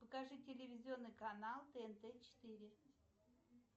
покажи телевизионный канал тнт четыре